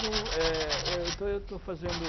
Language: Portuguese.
é, eu estou, estou fazendo